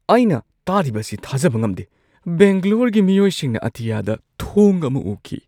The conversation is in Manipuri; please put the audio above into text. ꯑꯩꯅ ꯇꯥꯔꯤꯕꯁꯤ ꯊꯥꯖꯕ ꯉꯝꯗꯦ! ꯕꯦꯡꯒꯂꯣꯔꯒꯤ ꯃꯤꯑꯣꯏꯁꯤꯡꯅ ꯑꯇꯤꯌꯥꯗ ꯊꯣꯡ ꯑꯃ ꯎꯈꯤ ꯫